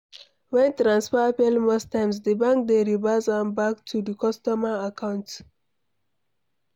When transfer fail most times, di bank dey reverse am back to di customer account